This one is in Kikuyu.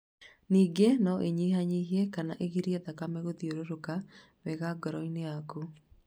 Ningĩ no ĩnyihanyihie kana ĩgirie thakame gũthiũrũrũka wega ngoro-inĩ yaku.